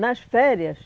Nas férias,